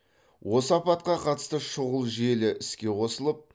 осы апатқа қатысты шұғыл желі іске қосылып